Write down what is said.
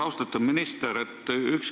Austatud minister!